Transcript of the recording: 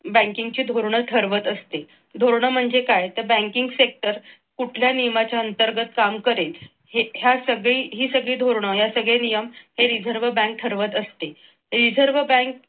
banking ची धोरणात ठरवीत असते तोरणा म्हणजे काय तर banking sector कुठल्या नियमाच्या अंतर्गत काम करेल हे यासह ही सगळी धरणं हे सगळे नियम हे reserve bank ठरवत असते. reserve bank